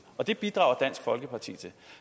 og det bidrager dansk folkeparti til